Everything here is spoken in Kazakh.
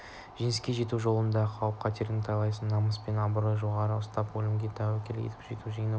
жеңіске жету жолында қауіп-қатерден тайсалмай намыс пен абыройды жоғары ұстап өлімге тәуекел етіп жауды жеңген